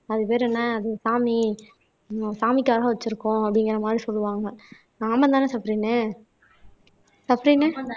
அது பேரு என்ன அது சாமி ஹம் சாமிக்காக வச்சிருக்கோம் அப்படிங்கிற மாதிரி சொல்லுவாங்க ஆமா தானே சஃப்ரின்னு சஃப்ரின்